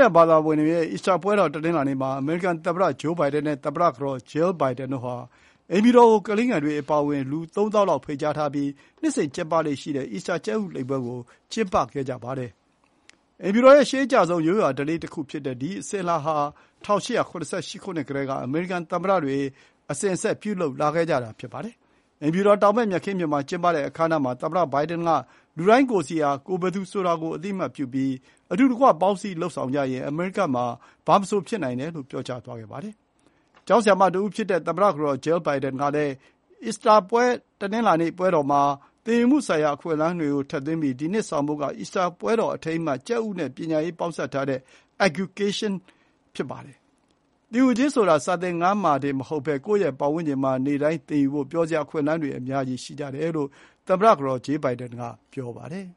ယာန်ဘာသာဝင်တွေရဲ့ အီစတာပွဲတော်ကို တနင်္လာနေ့မှာ အမေရိကန်သမ္မတဂျိုးဘိုင်ဒန်နဲ့ သမ္မတကတော် ဂျေးလ်ဘိုင်ဒန်တို့ဟာ အိမ်ဖြူတော်ကိုကလေးငယ်တွေအပါအဝင် လူ ၃၀,၀၀၀ လောက် ဖိတ်ကြားပြီး နှစ်စဉ်ကျင်းပလေ့ရှိတဲ့ အီစတာကြက်ဥကောက်ပွဲကို ကျင်းပခဲ့ကြပါတယ်။ အိမ်ဖြူတော်ရဲ့ရှေးအကျဆုံး ရိုးရာဓလေ့တခုဖြစ်တဲ့ ဒီ အစဉ်အလာဟာ ၁၈၇၈ ခုနှစ်ကတည်းက အမေရိကန်သမ္မတတွေ အစဉ်အဆက်ပြုလုပ်ခဲ့ကြတာပါ။ အိမ်ဖြူတော်တောင်ဘက် မြက်ခင်းပြင်မှာ ကျင်းပတဲ့အခမ်းအနားမှာ သမ္မတဘိုင်ဒန်က လူတိုင်းကိုယ်စီဟာ ကိုယ်ဘယ်သူဆိုတာကိုအသိအမှတ်ပြုပြီး အတူတကွ ပေါင်းစည်း လုပ်ဆောင်ကြရင် အမေရိကမှာ ဘာမဆိုဖြစ်နိုင်တယ်လို့ ပြောသွားပါတယ်။ ကျောင်းဆရာမတဦးဖြစ်တဲ့ သမ္မတကတော် ဂျေးလ် ဘိုင်ဒန်ကလည်း အီစတာတနင်္လာနေ့ပွဲမှာ သင်ယူမှုဆိုင်ရာအခွင့်အလမ်းတွေကိုထည့်သွင်းထားပြီး ဒီနှစ်ဆောင်ပုဒ်က အီစတာပွဲတော်အထိမ်းအမှတ် ကြက်ဥနဲ့ပညာရေးပေါင်းစပ်ထားတဲ့ “EGGucation” (အက်ခ်-ကျူကေးရှင်း) ဖြစ်ပါတယ်။ “သင်ယူခြင်းဆိုတာ စာသင်ခန်းထဲမှာတင်မဟုတ်ဘဲ ကိုယ့်ရဲ့ပတ်ဝန်းကျင်မှာ နေ့တိုင်းသင်ယူဖို့ ပျော်စရာအခွင့်အလမ်းတွေ အများကြီးရှိတယ်” လို့ သမ္မတကတော် ဂျေးလ် ဘိုင်ဒန်က ပြောပါတယ်